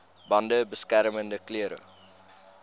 bande beskermende klere